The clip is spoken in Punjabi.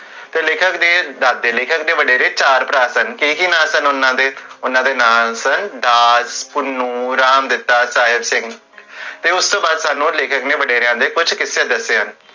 ਤੇ ਲੇਖਕ ਦੇ ਦਾਦੇ, ਲੇਖਕ ਦੇ ਵਡੇਰੇ ਚਾਰ ਭਰਾ ਸਨ ਕੀ ਕੀ ਨਾਂ ਸਨ ਓਨਾ ਦੇ, ਓਨਾ ਦੇ, ਓਨਾ ਦੇ ਨਾਂ ਸਨ, ਰਾਜ, ਭੁਨੂ ਤੇ ਉਸ ਤੋ ਬਾਅਦ ਸਾਨੂ ਲੇਖਕ ਦੇ ਵਡੇਰੇਆਂ ਦੇ ਕੁਛ ਕਿਸਸੇ ਦੱਸੇ ਹਨ